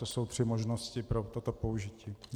To jsou tři možnosti pro toto použití.